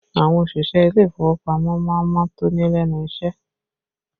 Àwọn òṣìṣẹ́ ilé ìfowópamọ́ má ń mọ́ tóní lẹ́nu iṣẹ́